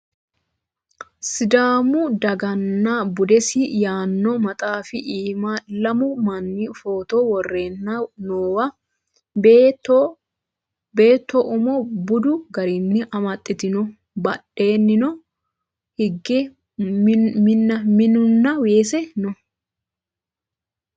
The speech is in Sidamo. Sidaamu daganna budesi yaanno maxaafi iima lamu manni footo worreenna noowa beetto umo budu garinni amaxxitino badheenni hige minunna weese no